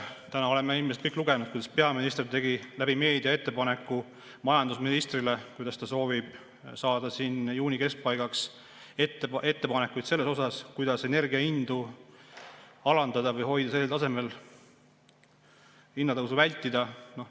Täna oleme kõik lugenud, kuidas peaminister tegi meedias ettepaneku majandusministrile, et ta soovib saada juuni keskpaigaks ettepanekuid, kuidas energiahindu alandada või hoida sellisel tasemel, et hinnatõusu vältida.